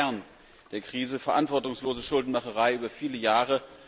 Denn das ist der Kern der Krise verantwortungslose Schuldenmacherei über viele Jahre.